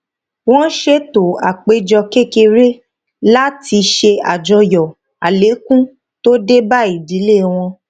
wọn ṣètò àpéjọ kékeré láti ṣe àjọyọ àlékún tó dé bá ìdílé wọn